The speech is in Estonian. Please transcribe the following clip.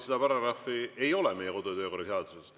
Seda paragrahvi ei ole meie kodu‑ ja töökorra seaduses.